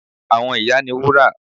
Àwọn ìyá ni Wúrà